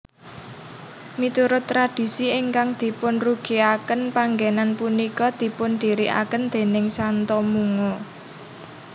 Miturut tradisi ingkang dipunrugiaken panggenan punika dipundiriaken déning Santo Mungo